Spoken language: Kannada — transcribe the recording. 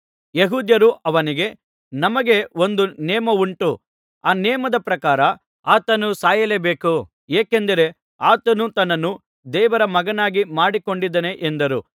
ಯೆಹೂದ್ಯರು ಅವನಿಗೆ ನಮಗೆ ಒಂದು ನೇಮ ಉಂಟು ಆ ನೇಮದ ಪ್ರಕಾರ ಆತನು ಸಾಯಲೇಬೇಕು ಏಕೆಂದರೆ ಆತನು ತನ್ನನ್ನು ದೇವರ ಮಗನಾಗಿ ಮಾಡಿಕೊಂಡಿದ್ದಾನೆ ಎಂದರು